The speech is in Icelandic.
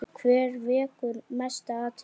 Hver vekur mesta athygli?